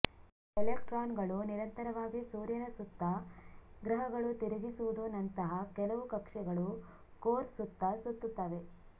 ಎಲೆಕ್ಟ್ರಾನ್ಗಳು ನಿರಂತರವಾಗಿ ಸೂರ್ಯನ ಸುತ್ತ ಗ್ರಹಗಳು ತಿರುಗಿಸುವುದು ನಂತಹ ಕೆಲವು ಕಕ್ಷೆಗಳು ಕೋರ್ ಸುತ್ತ ಸುತ್ತುತ್ತವೆ